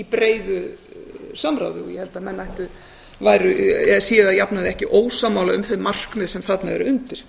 breiðu samráði og ég held að menn séu að jafnaði ekki ósammála um þau markmið sem þarna eru undir